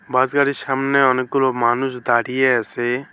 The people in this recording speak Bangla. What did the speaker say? বাস গাড়ির সামনে অনেকগুলো মানুষ দাঁড়িয়ে আসে।